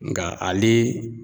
Nga ale